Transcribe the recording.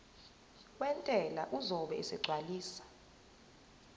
wentela uzobe esegcwalisa